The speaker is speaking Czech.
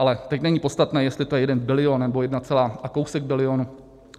Ale teď není podstatné, jestli je to jeden bilion, nebo jedna celá a kousek bilionu.